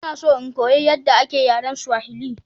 Ina so in koyi yadda ake yaren Swahili.